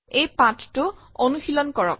এই পাঠটো অনুশীলন কৰক